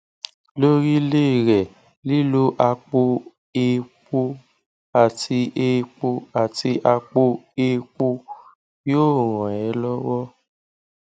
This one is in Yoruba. lórílé rẹ lílo àpò èèpo àti èèpo àti àpò èèpo yóò ràn é lọwọ